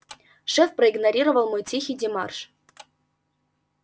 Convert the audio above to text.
шеф проигнорировал мой тихий демарш